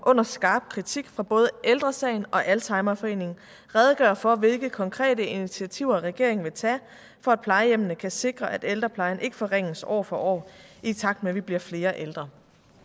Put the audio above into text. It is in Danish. under skarp kritik fra både ældre sagen og alzheimerforeningen redegøre for hvilke konkrete initiativer regeringen vil tage for at plejehjemmene kan sikre at ældreplejen ikke forringes år for år i takt med at vi bliver flere ældre